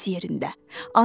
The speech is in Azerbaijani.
Bu öz yerində.